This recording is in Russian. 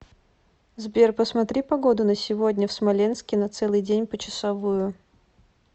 сбер посмотри погоду на сегодня в смоленске на целый день почасовую